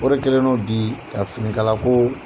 O de kɛlen no bii ka finikala koo